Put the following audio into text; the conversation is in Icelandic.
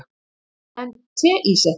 en teísetning